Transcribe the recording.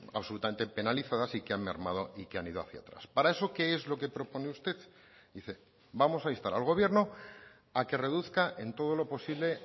absolutamente penalizadas y que han mermado y que han ido hacía atrás para eso qué es lo que propone usted dice vamos a instar al gobierno a que reduzca en todo lo posible